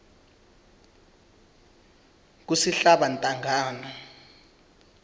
kusihlabantangana